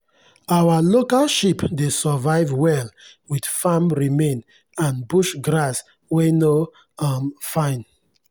our local sheep dey survive well with farm remain and bush grass wey no um fine.